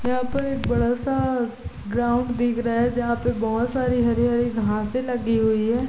यहां पर एक बड़ा सा ग्राउंड दिख रहा है जहां पे बहुत सारी हरी हरी घासे लगी हुई है।